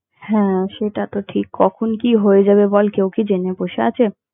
হ্যাঁ সেটা তো ঠিক কখন কি হয়ে যাবে বল কেউ কি জেনে বসে আছে?